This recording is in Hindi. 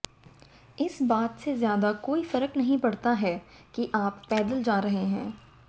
इस बात से ज़्यादा कोई फर्क नहीं पड़ता है की आप पैदल जा रहे हैं